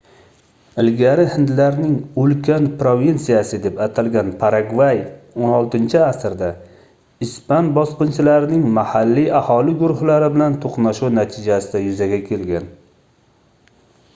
ilgari hindlarning ulkan provinsiyasi deb atalgan paragvay 16-asrda ispan bosqinchilarining mahalliy aholi guruhlari bilan toʻqnashuvi natijasida yuzaga kelgan